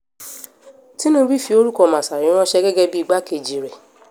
tinúbù fi orúkọ masari ránṣẹ́ um gẹ́gẹ́ bíi igbákejì rẹ̀